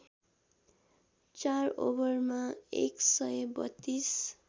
४ ओभरमा १ सय ३२